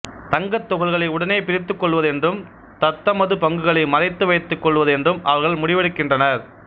தங்க துகள்களை உடனே பிரித்துக் கொள்வது என்றும் தத்தமது பங்குகளை மறைத்து வைத்துக் கொள்வது என்றும் அவர்கள் முடிவெடுக்கின்றனர்